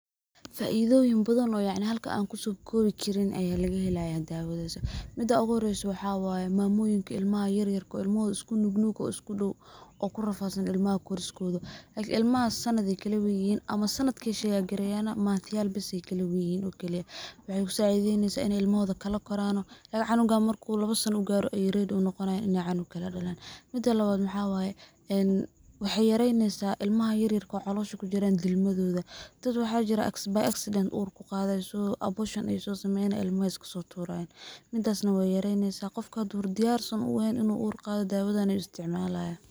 Faidoyin badhan yacni halkan an kusokobi karin ayaa lagahelayaa dawadas. Mida uguhoresoo waxa waye mamoyinka ilmaha yaryarka ah iskunug ah oo iskudow oo kurafadsan ilmaha koriskoda, like ilmahas sanad ay kalaweynyihin ama sanadka ay sheyagreyan, manthyal bes ay kalaweynyihin oo kaliyaa , waxay kusacideynesaa in ilmahoda kalakorano, like cunuga marku lawa sana garo ready uu noqonya in cunug kale dalan. mida lawad waxaa waye en waxey yareynesaah ilmaha yaryarka ah oo calosha kujiran dilmadodha, dad waxaa jiran by accident ur kuqaday so, abortion ay so sameynayan ilmaha ay iskasoturayan, midas na wey yuareynesaah , qofka haduu diyar uehen in uu ur qado dawadan ayuu isticmalaya.